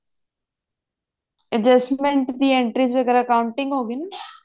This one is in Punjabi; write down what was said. adjustment ਦੀ entry ਵਗੇਰਾ ਕੋਉਂਟਿੰਗ ਹੋਗੀ ਨਾ